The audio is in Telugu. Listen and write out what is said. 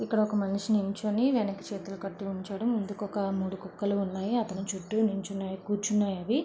ఇక్కడ ఒక మనిషి నిల్చొని వెనక చేతులు కట్టుకొని నిలుచోవడం ముందుకు ఒక మూడు కుక్కలు ఉన్నాయి అతని చుట్టూ నిల్చున్నాయి కూర్చున్నాయి అవి.